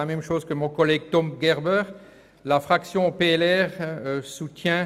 Damit kommen wir nun zu den Einzelsprechern.